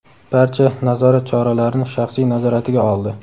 barcha nazorat choralarini shaxsiy nazoratiga oldi.